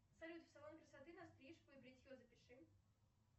салют в салон красоты на стрижку и бритье запиши